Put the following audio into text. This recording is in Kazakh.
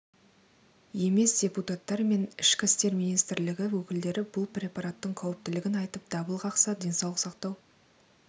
емес депутаттар мен ішкі істер министрлігі өкілдері бұл препараттың қауіптілігін айтып дабыл қақса денсаулық сақтау